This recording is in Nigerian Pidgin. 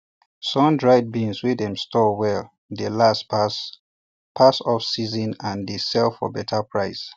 sundried beans wey dem store well dey last pass pass offseason and dey sell for better price